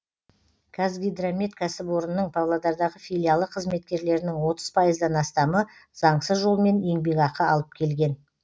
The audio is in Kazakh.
казгидромет кәсіпорынының павлодардағы филиалы қызметкерлерінің отыз пайыздан астамы заңсыз жолмен еңбекақы алып келген